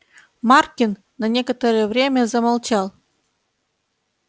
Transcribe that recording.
маркин на некоторое время замолчал